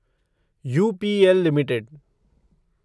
UPL limited